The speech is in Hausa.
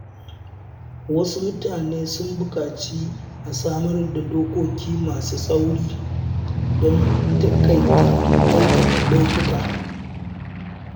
Wasu mutane sun buƙaci a samar da dokoki masu tsauri don taƙaita aikata laifuka.